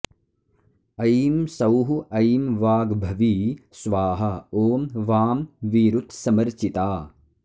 ऐं सौः ऐं वाग्भवी स्वाहा ॐ वां वीरुत्समर्चिता